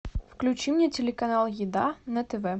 включи мне телеканал еда на тв